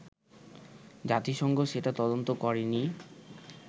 জাতিসংঘ সেটা তদন্ত করেনি